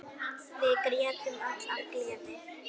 Við grétum öll af gleði.